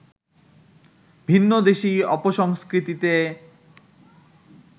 ভিন্নদেশী অপসংস্কৃতিতে